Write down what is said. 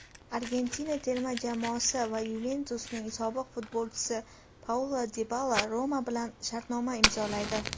Argentina terma jamoasi va "Yuventus"ning sobiq futbolchisi Paulo Dibala "Roma" bilan shartnoma imzolaydi.